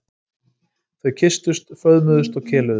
Þau kysstust, föðmuðust og keluðu.